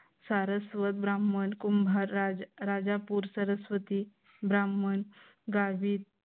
Saraswat Brahmin Kumbhar Rajapur Saraswati Brahman Gavit